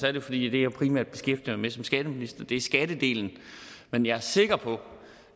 er det fordi det jeg primært beskæftiger mig med som skatteminister er skattedelen men jeg er sikker på